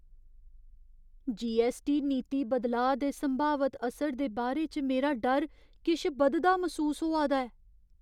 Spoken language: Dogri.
जीऐस्सटी नीति बदलाऽ दे संभावत असर दे बारे च मेरा डर किश बधदा मसूस होआ दा ऐ।